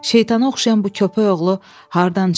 Şeytana oxşayan bu köpək oğlu hardan çıxdı?